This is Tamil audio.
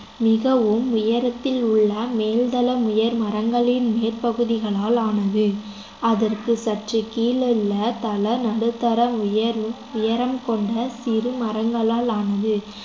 மிகவும் உயரத்தில் உள்ள மேல்தளம் உயர் மரங்களின் மேற்பகுதிகளால் ஆனது அதற்குச் சற்றுக் கீழுள்ள தளம் நடுத்தர உயர்வு உயரம் கொண்ட சிறு மரங்களால் ஆனது